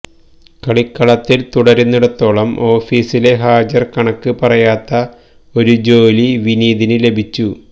കളിക്കളത്തില് തുടരുന്നിടത്തോളം ഓഫീസിലെ ഹാജര് കണക്ക് പറയാത്ത ഒരു ജോലി വിനീതിന് ലഭിച്ചു